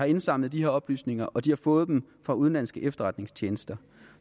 indsamlet de her oplysninger og de har fået dem fra udenlandske efterretningstjenester